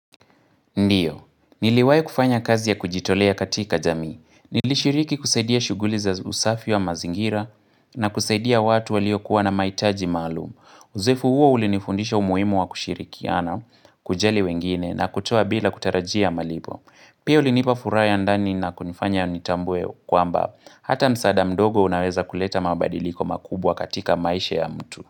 Ndio, niliwai kufanya kazi ya kujitolea katika jamii. Nili shiriki kusaidia shughuli za usafi wa mazingira na kusaidia watu walio kuwa na maitaji maalum Uzoefu huo ulinifundisha umuhimu wa kushirikiana, kujali wengine na kutoa bila kutarajia malipo. Pia ulinipafuraya andani na kunifanya nitambue kwamba. Hata msada mdogo unaweza kuleta mabadiliko makubwa katika maisha ya mtu.